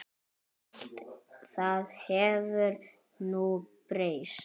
Allt það hefur nú breyst.